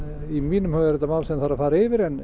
í mínum huga er þetta mál sem þarf að fara yfir en